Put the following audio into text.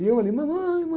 E eu ali, mamãe,